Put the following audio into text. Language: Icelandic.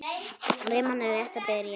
Rimman er rétt að byrja.